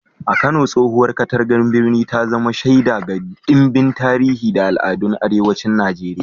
A Kano, tsohowar katangar birnin ta zama shaida ga ɗimbin tarihi da al'adun arewacin Najeriya.